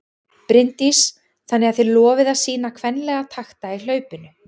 Bryndís: Þannig að þið lofið að sýna kvenlega takta í hlaupinu?